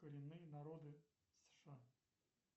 коренные народы сша